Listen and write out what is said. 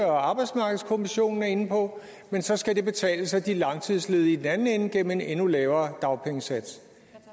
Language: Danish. og arbejdsmarkedskommissionen er inde på men så skal det betales af de langtidsledige i den anden ende gennem en endnu lavere dagpengesats